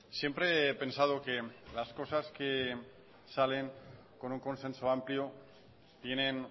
siempre he pensado que las cosas que salen con un consenso amplio tienen